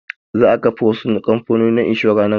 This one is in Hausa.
Za a kafa wasu kamfanonin inshura nan gaba